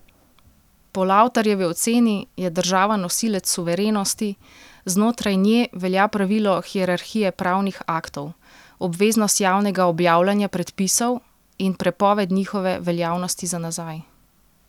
Po Lavtarjevi oceni je država nosilec suverenosti, znotraj nje velja pravilo hierarhije pravnih aktov, obveznost javnega objavljanja predpisov in prepoved njihove veljavnosti za nazaj.